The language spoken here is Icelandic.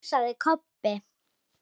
másaði Kobbi.